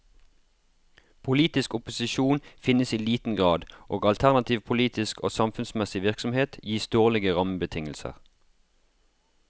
Politisk opposisjon finnes i liten grad og alternativ politisk og samfunnsmessig virksomhet gis dårlige rammebetingelser.